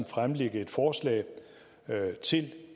fremlægge forslag til